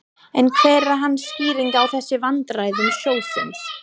En hver er hans skýring á þessum vandræðum sjóðsins?